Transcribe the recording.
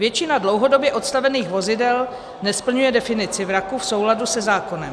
Většina dlouhodobě odstavených vozidel nesplňuje definici vraku v souladu se zákonem.